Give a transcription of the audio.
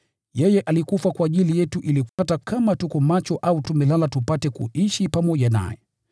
Yeye alikufa kwa ajili yetu ili hata kama tuko macho au tumelala, tupate kuishi pamoja naye.